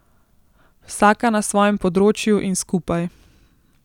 Vsaka na svojem področju in skupaj.